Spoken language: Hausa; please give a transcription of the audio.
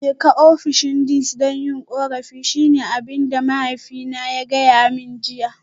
Jeka ofishin Deans don yin korafi shine abin da mahaifina ya gaya mani jiya